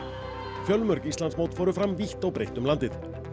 fjölmörg Íslandsmót fóru fram vítt og breitt um landið